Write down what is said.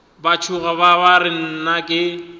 ba tšhoga ba re nnake